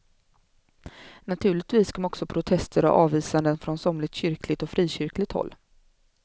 Naturligtvis kom också protester och avvisanden från somligt kyrkligt och frikyrkligt håll.